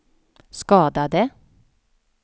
skadade